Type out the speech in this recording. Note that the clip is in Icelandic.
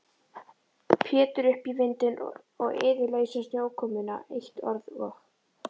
Pétur upp í vindinn og iðulausa snjókomuna, eitt orð og